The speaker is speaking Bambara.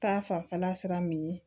Ta fanfɛla sira min ye